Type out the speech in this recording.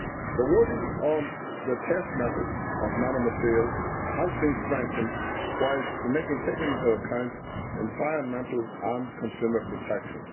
The wording on the test methods for nanomaterials has been strengthened, while taking into account environmental and consumer protection.